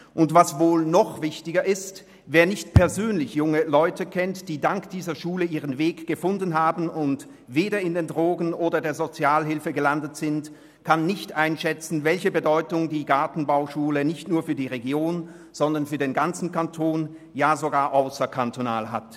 Und was wohl noch viel wichtiger ist: Wer nicht persönlich junge Leute kennt, die dank dieser Schule ihren Weg gefunden haben und weder in der Drogenabhängigkeit noch bei der Sozialhilfe gelandet sind, kann nicht einschätzen, welche Bedeutung die Gartenbauschule nicht nur für die Region, sondern für den ganzen Kanton, ja sogar ausserhalb des Kantons hat.